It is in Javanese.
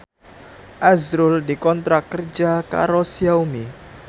azrul dikontrak kerja karo Xiaomi